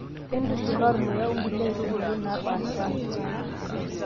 intushula ormuya onkulie aitubulu napashaa